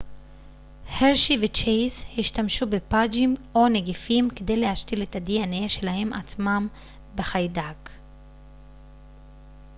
הרשי וצ'ייס השתמשו בפאג'ים או נגיפים כדי להשתיל את ה-dna שלהם עצמם בחיידק